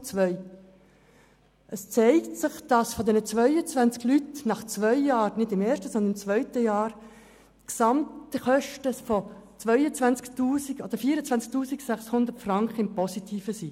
Zum zweiten Punkt: Es zeigte sich, dass die Gesamtkosten für diese 22 Personen nach zwei Jahren nicht im ersten, sondern im zweiten Jahr mit 24 600 Franken im Positiven waren.